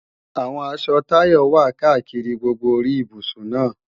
Àwọn aṣọ Táyọ wà káàkiri gbogbo orí ibùsùn náà